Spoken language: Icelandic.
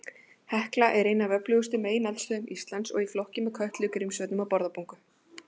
Hekla er ein af öflugustu megineldstöðvum Íslands, í flokki með Kötlu, Grímsvötnum og Bárðarbungu.